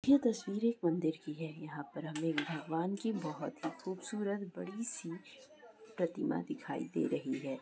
यह तस्वीर एक मंदिर की है यहाँ पर हमें भगवान की बहोत ही खूबसूरत बड़ी-सी प्रतिमा दिखाई दे रही हैं।